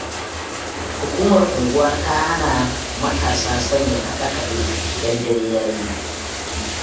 Hukumar unguwa ta hana matasa sanya kaɗe-kaɗe, idan dare ya yi.